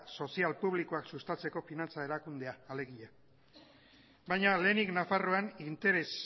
sozial publikoak sustatzeko finantza erakundea alegia baina lehenik nafarroan interes